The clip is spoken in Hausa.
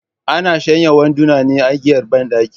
Ana shanya wanduna ne a igiyar banɗaki